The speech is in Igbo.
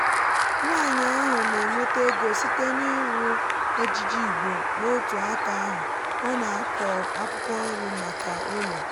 nwanyi ahụ nà-ènwéta ego site n’ịrụ ejiji igbo n'otù áka ahu ọ na-akọ akwukwo nri maka ụlọ.